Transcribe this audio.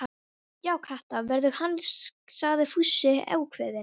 Já, Kata verður hann sagði Fúsi ákveðinn.